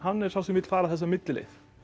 er sá sem vill fara þessa millileið